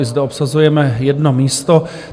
I zde obsazujeme jedno místo.